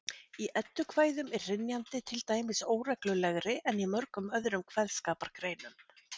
Í eddukvæðum er hrynjandi til dæmis óreglulegri en í mörgum öðrum kveðskapargreinum.